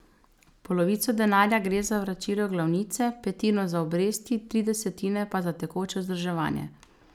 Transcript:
Polovico denarja gre za vračilo glavnice, petino za obresti, tri desetine pa za tekoče vzdrževanje.